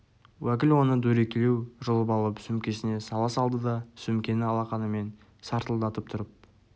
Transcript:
уәкіл оны дөрекілеу жұлып алып сөмкесіне сала салды да сөмкені алақанымен сартылдатып тұрып